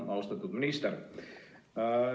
Austatud minister!